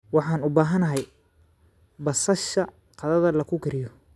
Waxaan u baahanahay basasha qadada lagu kariyo.